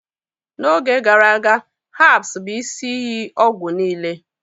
n'oge gara aga, herbs bụ isi iyi ọgwụ niile